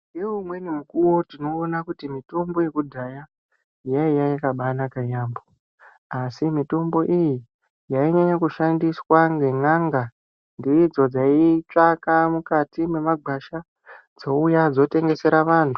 Ngeumweni mukuwo tinoona kuti mitombo yekudhaya yaiya yakabanaka yambo asi mitombo iyi yainyanya kushandiswa ngen'anga ndidzo dzitsvaka mukati mwemagwasha dzouya dzotengesera vantu.